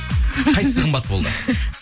қайсысы қымбат болды